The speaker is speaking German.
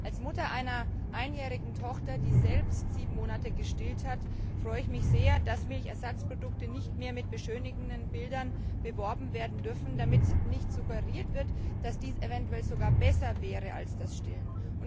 Als Mutter einer einjährigen Tochter, die selbst sieben Monate gestillt hat, freue ich mich sehr, dass Milchersatzprodukte nicht mehr mit beschönigenden Bildern beworben werden dürfen, damit nicht suggeriert wird, dass dies eventuell sogar besser wäre als das Stillen.